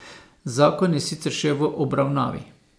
Zakon je sicer še v obravnavi.